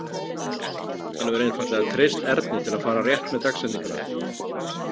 Hann hefur einfaldlega treyst Erni til að fara rétt með dagsetninguna.